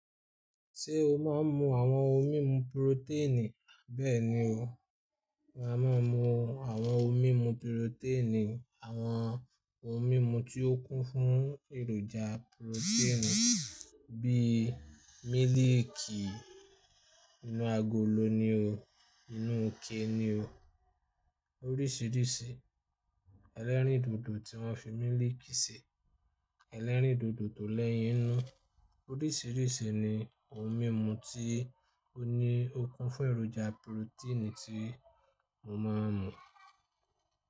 Ṣé o máa ń mu àwọn ohun mímu purotẹ́ẹ̀nì? Bẹ́ẹ̀ni o, á máa ń mu àwọn ohun mímu purotẹ́ẹ̀nì, àwọn ohun mímu tí ó kún fún èròjà purotẹ́ẹ̀nì bíi mílìkì inú agolo ni o, inú ike ni o, oríṣìíríṣìí. Ẹlẹ́rìndòdò tí wọ́n fi mílìkì ṣe, ẹlẹ́rìndòdò tólẹ́yìn inú, oríṣìíríṣìí ni ohun mímu tí ó ní ó kún fún èròjà purotẹ́ẹ̀nì tí mo máa ń mu.